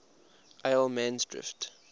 allemansdrift